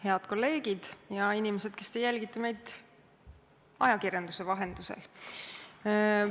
Head kolleegid ja inimesed, kes te jälgite meid ajakirjanduse vahendusel!